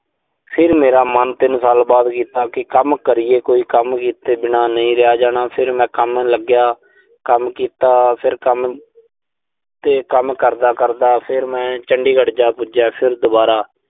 ਫਿਰ ਮੇਰਾ ਮਨ ਤਿੰਨ ਸਾਲ ਬਾਅਦ ਕੀਤਾ ਕਿ ਕੰਮ ਕਰੀਏ ਕੋਈ ਕੰਮ ਕੀਤੇ ਬਿਨਾਂ ਨਹੀਂ ਰਿਹਾ ਜਾਣਾ। ਫਿਰ ਮੈਂ ਕੰਮ ਲੱਗਿਆ। ਕੰਮ ਕੀਤਾ, ਫਿਰ ਕੰਮ ਤੇ ਕੰਮ ਕਰਦਾ-ਕਰਦਾ, ਫਿਰ ਮੈਂ ਚੰਡੀਗੜ੍ਹ ਜਾ ਪੁੱਜਿਆ। ਫਿਰ ਦੁਬਾਰਾ